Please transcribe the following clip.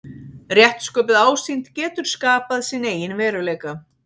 Rétt sköpuð ásýnd getur skapað sinn eigin veruleika.